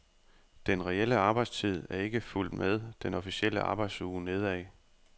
Den reelle arbejdstid er ikke fulgt med den officielle arbejdsuge nedad.